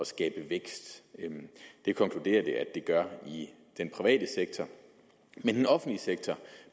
skabe vækst det konkluderer det at det gør i den private sektor den offentlige sektor